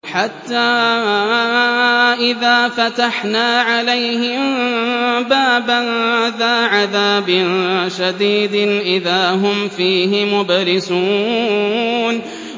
حَتَّىٰ إِذَا فَتَحْنَا عَلَيْهِم بَابًا ذَا عَذَابٍ شَدِيدٍ إِذَا هُمْ فِيهِ مُبْلِسُونَ